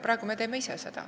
Praegu me teeme seda kõike ise.